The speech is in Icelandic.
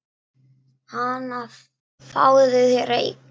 Hana, fáðu þér reyk